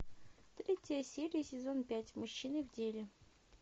третья серия сезон пять мужчины в деле